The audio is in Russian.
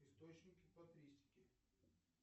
источники патристики